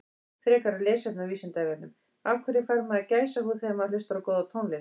Frekara lesefni á Vísindavefnum Af hverju fær maður gæsahúð þegar maður hlustar á góða tónlist?